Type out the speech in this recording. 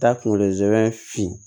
Taa kunkolo zɛmɛ fin